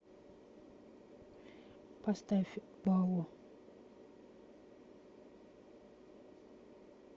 поставь балу